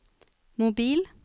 mobil